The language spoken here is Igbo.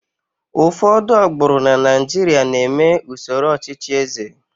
ụfọdụ agbụrụ na Naijiria na-eme usoro ọchịchị eze